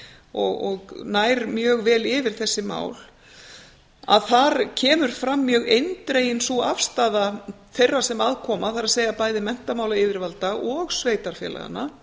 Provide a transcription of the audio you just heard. og nær mjög vel yfir þessi mál það kemur fram mjög eindregin sú afstaða þeirra sem að koma það er bæði menntamálayfirvalda og sveitarfélaganna